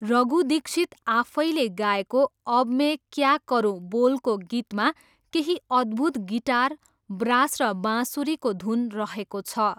रघु दीक्षित आफैले गाएको 'अब में क्या करुं' बोलको गीतमा केही अद्भूत गिटार, ब्रास र बाँसुरीको धुन रहेको छ।